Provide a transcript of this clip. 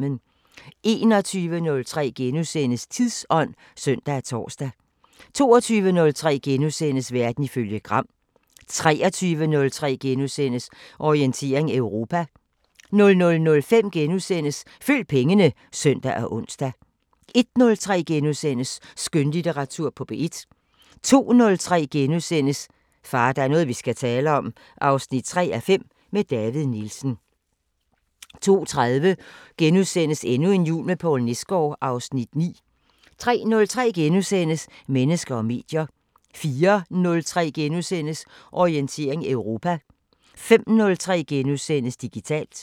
21:03: Tidsånd *(søn og tor) 22:03: Verden ifølge Gram * 23:03: Orientering Europa * 00:05: Følg pengene *(søn og ons) 01:03: Skønlitteratur på P1 * 02:03: Far, der er noget vi skal tale om 3:5 – med David Nielsen * 02:30: Endnu en jul med Poul Nesgaard (Afs. 9)* 03:03: Mennesker og medier * 04:03: Orientering Europa * 05:03: Digitalt *